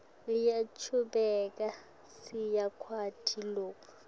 uyachubeka siyakwati loku